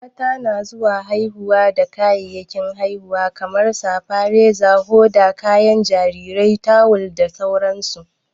Mata na zuwa haihuwa da kayayyakin haihuwa kamar safa, Reza, hoda, kayan jarirai, tawul da sauran su.